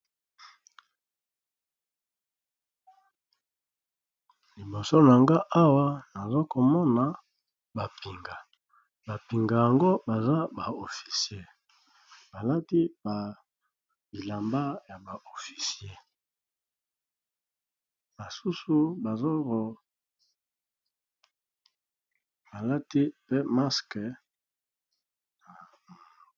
Liboso na nga awa nazo komona ba pinga, ba pinga yango baza ba officier balati ba bilamba ya ba officier basusu bao balati pe masque...